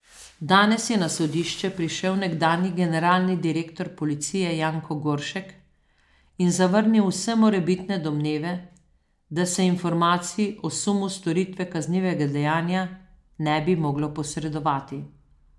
Danes je na sodišče prišel nekdanji generalni direktor policije Janko Goršek in zavrnil vse morebitne domneve, da se informacij o sumu storitve kaznivega dejanja ne bi moglo posredovati.